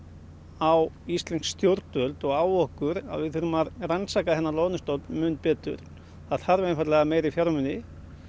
á íslensk stjórnvöld og á okkur að við þurfum að rannsaka þennan loðnustofn mun betur það þarf einfaldlega meiri fjármuni